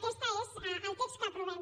aquest és el text que aprovem